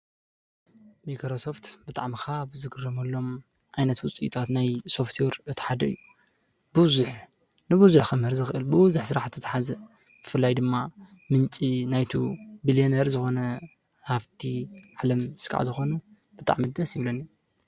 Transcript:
ሚክሮሶፍት ብጥዕ ምኻ ብዝግሮመሎም ኣይነት ውፂይጣት ናይ ሶፍትዩር እተሓደ እዩ ብዙኅ ንብዙኅ ኽምህር ዝኽእልቡ ዝኅሥራሕት ተሓዘ ምፍላይ ድማ ምንፂ ናይቱ ብልዮኔር ዝኾነ ሃብቲ ዕለም ሥቃዕ ዝኾነ ብጥዕ ምደስ ይብለኒ